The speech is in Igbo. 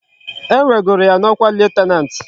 E wegoro ya na okwa lieutenant